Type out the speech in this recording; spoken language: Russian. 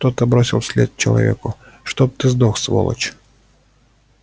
кто-то бросил вслед человеку чтоб ты сдох сволочь